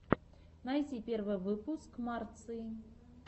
найти первый выпуск марции